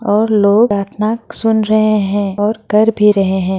और लोग प्रार्थना सुन रहें हैं और कर भी रहें हैं।